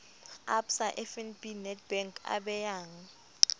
absa fnb nedbank a beyang